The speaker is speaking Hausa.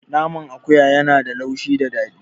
Naman akuya ya na da laushi da daɗi